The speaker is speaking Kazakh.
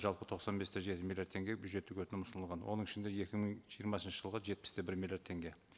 жалпы тоқсан бес те жеті миллиард теңге бюджеттік өтінім ұсынылған оның ішінде екі мың жиырмасыншы жылға жетпіс те бір миллиард теңге